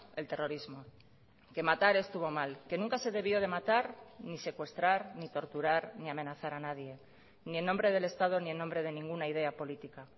el terrorismo que matar estuvo mal que nunca se debió de matar ni secuestrar ni torturar ni amenazar a nadie ni en nombre del estado ni en nombre de ninguna idea política